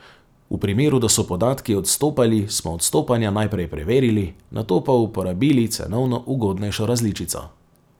V primeru, da so podatki odstopali, smo odstopanja najprej preverili, nato pa uporabili cenovno ugodnejšo različico.